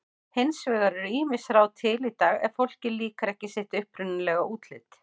Hins vegar eru ýmis ráð til í dag ef fólki líkar ekki sitt upprunalega útlit.